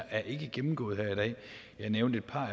er ikke gennemgået her i dag jeg nævnte et par